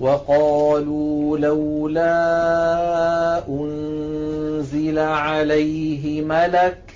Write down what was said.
وَقَالُوا لَوْلَا أُنزِلَ عَلَيْهِ مَلَكٌ ۖ